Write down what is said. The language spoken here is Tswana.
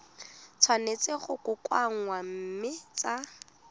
tshwanetse go kokoanngwa mme tsa